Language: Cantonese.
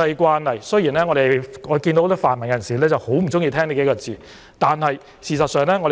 此外，雖然很多泛民人士很不喜歡這說法，但按照國際慣